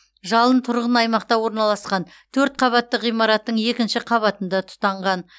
жалын тұрғын аймақта орналасқан төрт қабатты ғимараттың екінші қабатында тұтанған